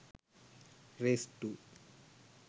race 2